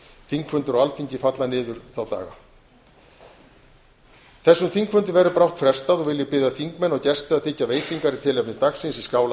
þingfundir á alþingi falla niður þá daga þessum þingfundi verður brátt frestað og vil ég biðja þingmenn og gesti að þiggja veitingar í tilefni dagsins í skála